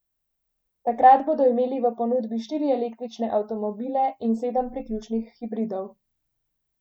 Takrat bodo imeli v ponudbi štiri električne avtomobile in sedem priključnih hibridov.